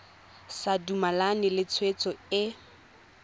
sa dumalane le tshwetso e